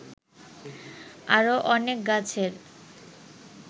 আরো অনেক গাছের